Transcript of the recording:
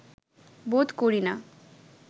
বোধ করি না